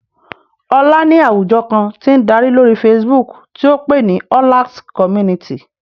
Olá ní àwùjọ kan tí ń darí lórí Facebook tí ó pè ní Ọlax Community